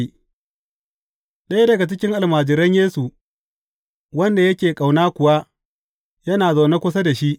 Ɗaya daga cikin almajiran Yesu wanda yake ƙauna kuwa, yana zaune kusa da shi.